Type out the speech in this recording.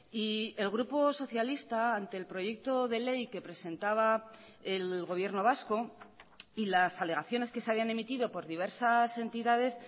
y el grupo socialista ante el proyecto de ley que presentaba el gobierno vasco y las alegaciones que se habían emitido por diversas entidades